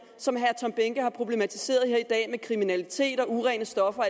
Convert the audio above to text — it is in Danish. som herre tom behnke har problematiseret her i dag med kriminalitet og urene stoffer og